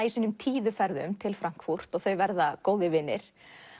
í sínum tíðu ferðum til Frankfurt þau verða góðir vinir